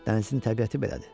Dənizin təbiəti belədir.